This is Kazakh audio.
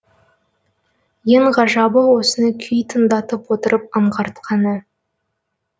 ең ғажабы осыны күй тыңдатып отырып аңғартқаны